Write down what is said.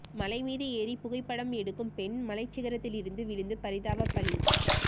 மலைமீது ஏறி புகைப்படம் எடுக்கும் பெண் மலை சிகரத்திலிருந்து விழுந்து பரிதாப பலி